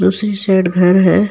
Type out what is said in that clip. उसी शेड घर है।